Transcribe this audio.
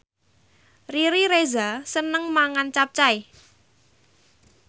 Riri Reza seneng mangan capcay